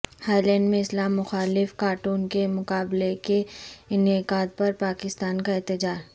ہالینڈمیں اسلام مخالف کارٹون کے مقابلے کے انعقادپرپاکستان کااحتجاج